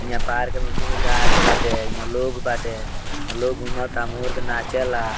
हियां पार्क में गाछ बाटे यहाँ लोग बाटे अ लोग घूमता मोर के नाचेला।